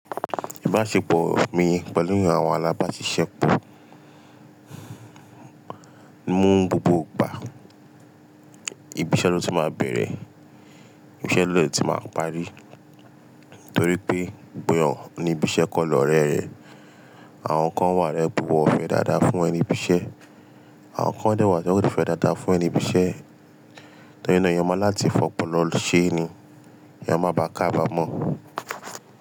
Ìbáṣepọ̀ mi pẹ̀lú àwọn alábáṣiṣẹ́ mi mú gbogbo ìgbà, ibiṣẹ́ ló ti máa bẹ̀rẹ̀, ibiṣẹ́ ló dé ti máa parí. Nítorí pé gbogbo èyàn ni ibiṣẹ́ kọ́ lọrẹ rẹ̀. Àwọn kan wà rẹ gbogbo fẹ́ dáadáa fún ẹni ibiṣẹ́, àwọn kan dẹ́wàá tí wọ́n kò fẹ́ dáadáa fún ẹni ibiṣẹ́. Torí ná èyàn má ní láti fọpọ́lọ ṣe ni kí èyàn má bà kabámọ̀.